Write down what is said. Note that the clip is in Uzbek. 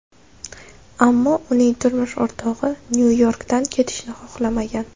Ammo uning turmush o‘rtog‘i Nyu-Yorkdan ketishni xohlamagan.